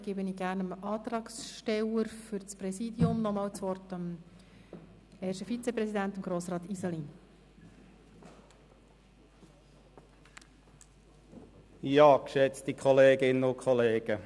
Deshalb gebe ich gern dem Antragsteller für das Präsidium, dem ersten Vizepräsidenten Grossrat Iseli, noch einmal das Wort.